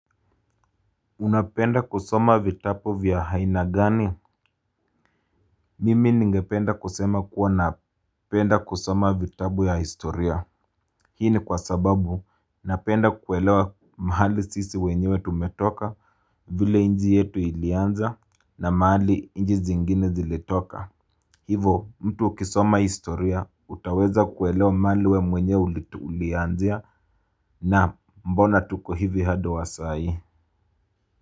Unapenda kusoma vitapu vya aina gani? Mimi ningependa kusema kuwa napenda kusoma vitabu ya historia. Hii ni kwa sababu napenda kuelewa mahali sisi wenyewe tumetoka vile inji yetu ilianza na mahali inji zingine zilitoka. Hivo mtu ukisoma historia utaweza kuelewa mahali we mwenyewe ulianzia na mbona tuko hivi hadi wasai.